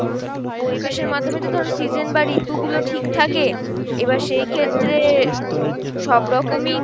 পরিবেশের মাধ্যমে তো ধরো season বা ঋতু গুলো ঠিক থাকে, এবার সেই ক্ষেত্রে সবরকমই